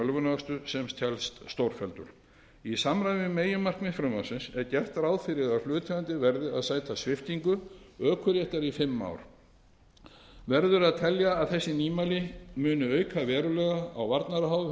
ölvunarakstur sem telst stórfelldur í samræmi við meginmarkmið frumvarpsins er gert ráð fyrir að hlutaðeigandi verði að sæta sviptingu ökuréttar í fimm ár verður að telja að þessi nýmæli muni auka verulega á